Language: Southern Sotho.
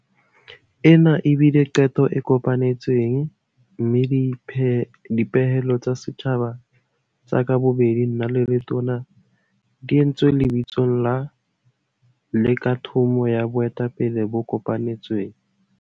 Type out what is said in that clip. Ena e bile qeto e kopanetsweng mme dipehelo tsa setjhaba tsa ka bobedi nna le Letona di entswe lebitsong la, le ka thomo ya boetapele bo kopanetsweng.